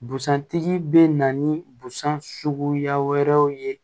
Busan tigi bɛ na ni busan suguya wɛrɛw ye